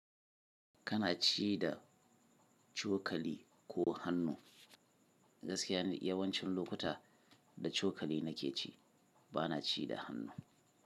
Kana ci da cokali ko hannu? Gaskiya ni yawancin lokuta da cokali na ke ci, ba na ci da hannu.